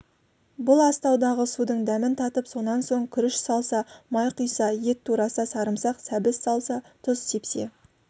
бұл астаудағы судың дәмін татып сонан соң күріш салса май құйса ет тураса сарымсақ сәбіз салса тұз сепсе